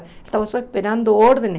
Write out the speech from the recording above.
Ele estava só esperando ordens.